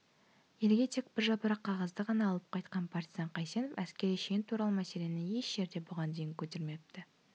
елге тек біржапырақ қағазды ғана алып қайтқан партизан қайсенов әскери шен туралы мәселені еш жерде бұған дейін көтермепті